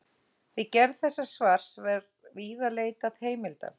Við gerð þessa svars var víða leitað heimilda.